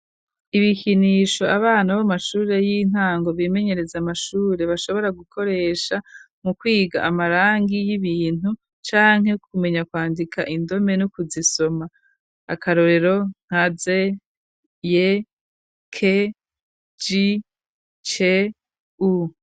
Ibikinisho abana bo mu mashuri y'intango bimenyereza amashuri bashobora gukoresha mu kwiga amarangi y'ibintu canke kumenya kwandika indome no kuzisoma. Akarorero nka Z, Y,K, J, C, O.